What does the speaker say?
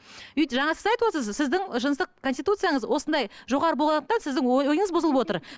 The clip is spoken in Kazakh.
жаңа сіз айтывотырсыз сіздің жыныстық конституцияңыз осындай жоғары болғандықтан сіздің ойыңыз бұзылып отыр